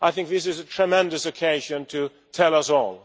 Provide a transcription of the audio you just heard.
I think this is a tremendous occasion to tell us all.